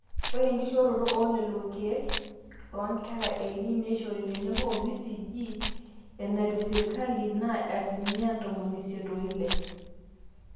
ore enkishooroto oolelo keek loonkera eini neishori tenebo o BCG enaatesirkali naa asilimia ntomoni isiet oile